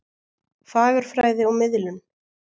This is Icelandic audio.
Fagurfræði og miðlun.